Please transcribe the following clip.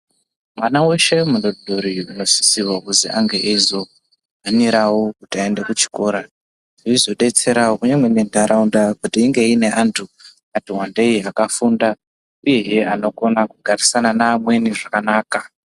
Mwana weshe mudodori unosisirwa kuzi ange eizohanirawo kuti aende kuchikora zveizodetserawo kunyange nentaraunda kuti inge ine antu akatiwandei akafunda uyehe anokona kugarisana neamweni zvakanaka.